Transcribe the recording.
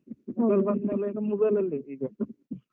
ಎಲ್ಲಾ mobile ಅಲ್ಲೇ ಈಗ.